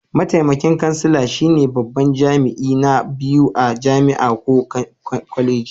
Mataimakin kansala shine babban jami'i na biyu a jami'a ko kwaleji.